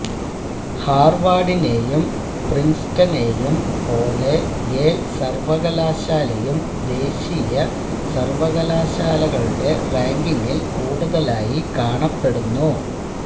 ഹാർവാഡിനെയും പ്രിൻസ്ടനെയും പോലെ യേൽ സർവകലാശാലയും ദേശീയ സർവ്വകലാശാലകളുടെ റാങ്കിങ്ങിൽ കൂടുതലായി കാണപ്പെടുന്നു